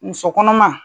Muso kɔnɔma